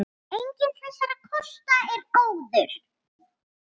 Enginn þessara kosta er góður.